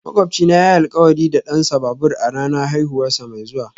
Makwabcina yayi alkawari da dansa babur a ranar haihuwarsa mai zuwa